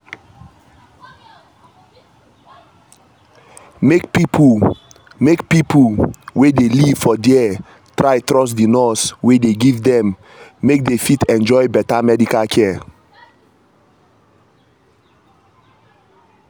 make pipo make pipo wey dey live for there try trust di nurse wey dey give them make dey fit enjoy better medical care